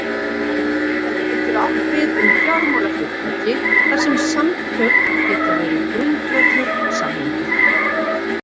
Þetta getur átt við um fjármálafyrirtæki þar sem samtöl geta verið grundvöllur samninga.